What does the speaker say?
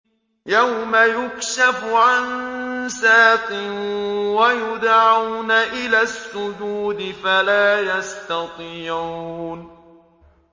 يَوْمَ يُكْشَفُ عَن سَاقٍ وَيُدْعَوْنَ إِلَى السُّجُودِ فَلَا يَسْتَطِيعُونَ